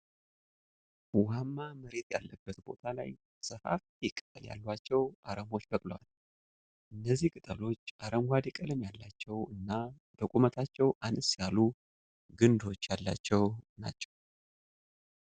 ዉሃማ መሬት ያለበት ቦታ ላይ ሰፋፊ ቅጠል ያሏቸው አረሞች በቅለዋል። እነዚህ ቅጠሎች አረንጓዴ ቀለም ያላቸው እና በቁመታቸው አነስ ያሉ ግንዶች ያላቸው ናቸው።